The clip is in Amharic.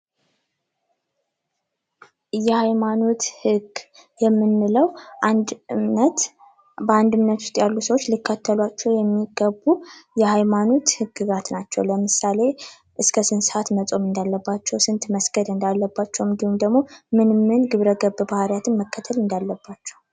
የሐይማኖት ህግ የምንለው በአንድ እምነት ውስጥ ያሉ ሰዎች ሊከተሏቸው የሚገቡ የሐይማኖት ሕግጋት ናቸው። ለምሳሌ፦ እስከ ስንት ሰዓት መጾም እንዳለባቸው። ስንት መስገድ እንዳለባቸው እንዲሁም ደግሞ ምን ምን ግብረ ገብ ባህሪያትን መከተል እንዳለባቸው።